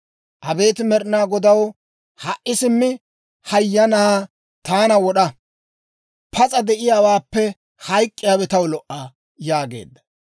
Abeet Med'inaa Godaw, ha"i simmi hay hayyanaa taana wod'a; pas'a de'iyaawaappe hayk'k'iyaawe taw lo"a» yaageedda.